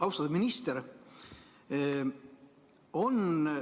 Austatud minister!